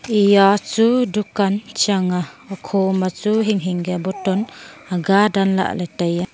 eya chu dukan chang a okho machu hing hing kya bottle aga danlah ley taiya.